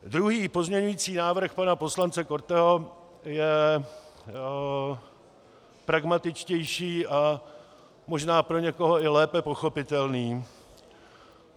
Druhý pozměňující návrh pana poslance Korteho je pragmatičtější a možná pro někoho i lépe pochopitelný.